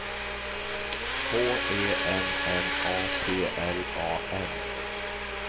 H E M M A P L A N